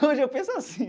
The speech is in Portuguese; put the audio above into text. Hoje eu penso assim.